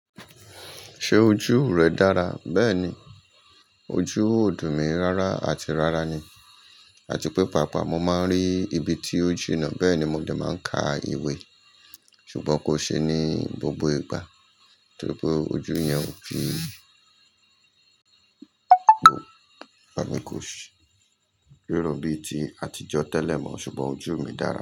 Ṣé ojú rẹ dára? Bẹ́ẹ̀ni, ojú ò dùn mi rárá àti rárá ni, àti pé pàápàá mo máa ń rí ibi tí ó jìnnà, bẹ́ẹ̀ ni mo dẹ̀ máa ń ka ìwé. Ṣùgbọ́n kò ṣe ní gbogbo ìgbà, torí pé ojú yẹn ò kí n wò, ẹmi kò ṣe rírọ̀ bíi ti àtijọ́ tẹ́lẹ̀ mọ́, ṣùgbọ́n ojú mi dára.